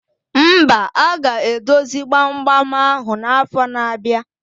Mba, aga edozi gbam gbam ahụ na afo na abịa